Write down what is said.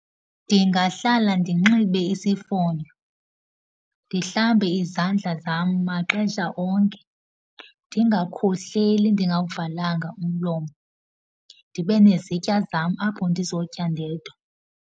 Ndingahlala ndinxibe isifonyo, ndihlambe izandla zam maxesha onke. Ndingakhohleli ndingawuvalanga umlomo. Ndibe nezitya zam apho ndizotya ndedwa.